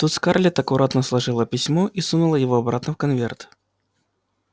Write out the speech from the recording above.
тут скарлетт аккуратно сложила письмо и сунула его обратно в конверт